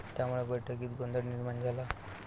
त्यामुळे बैठकीत गोंधळ निर्माण झाला.